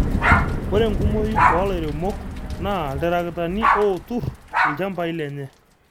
ore enkumooi oo lairemok naa iltarakitani ootu ilchampai lenye